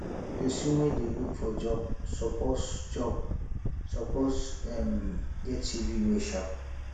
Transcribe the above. pesin wey dey look for job suppose job suppose um get cv wey sharp